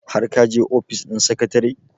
har ka je ofis ɗin secretary?